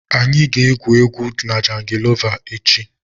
Anyị ga-egwu na jangolova echi.